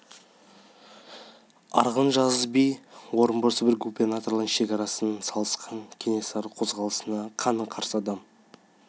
арғын жазы би орынбор сібір губерналарының шекарасын салысқан кенесары қозғалысына қаны қарсы адам